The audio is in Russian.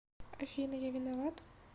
афина я виноват